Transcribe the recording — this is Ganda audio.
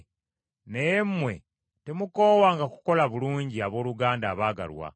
Naye mmwe temukoowanga kukola bulungi abooluganda abaagalwa.